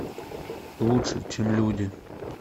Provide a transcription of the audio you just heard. лучше чем люди